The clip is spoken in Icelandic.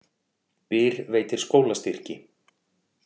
Byr veitir skólastyrki